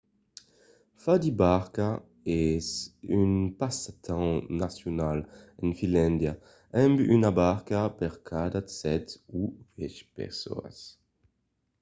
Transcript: fa de barca es un passatemps nacional en finlàndia amb una barca per cada sèt o uèch personas